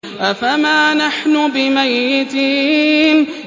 أَفَمَا نَحْنُ بِمَيِّتِينَ